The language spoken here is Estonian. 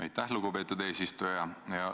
Aitäh, lugupeetud eesistuja!